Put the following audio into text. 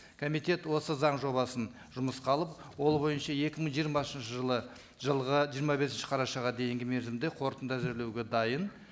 комитет осы заң жобасын жұмысқа алып ол бойынша екі мың жиырмасыншы жылы жылға жиырма бесінші қарашаға дейінгі мерзімде қорытынды әзірлеуге дайын